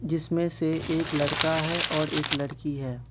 जिसमें से एक लड़का है और एक लड़की है।